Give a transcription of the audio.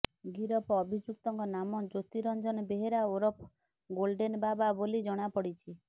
ଗିରଫ ଅଭିଯୁକ୍ତଙ୍କ ନାମ ଜ୍ୟୋତିରଞ୍ଜନ ବେହେରା ଓରଫ ଗୋଲଡେନ୍ ବାବା ବୋଲି ଜଣାପଡ଼ିଛି